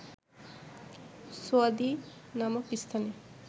সুয়াদি নামক স্থানে